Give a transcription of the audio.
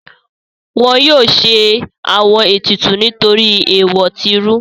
Wọn yóò ṣe àwọn ètùtù nítorí èèwọ̀ tí rú.